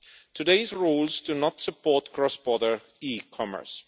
Today's rules do not support cross border eCommerce.